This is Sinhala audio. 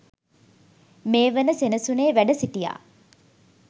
මේ වන සෙනසුනේ වැඩ සිටියා.